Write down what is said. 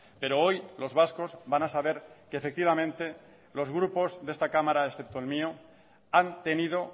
pero hoy los vascos van a saber que efectivamente los grupos de esta cámara excepto el mío han tenido